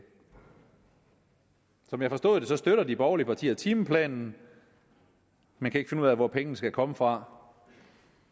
som jeg har forstået det støtter de borgerlige partier timeplanen men kan ikke finde ud af hvor pengene skal komme fra